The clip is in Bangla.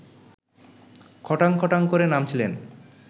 খটাং খটাং করে নামছিলেন